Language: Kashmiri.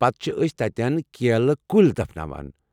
پتہٕ چھِ ٲسۍ تتٮ۪ن کیلہٕ کُلۍ دفناوان۔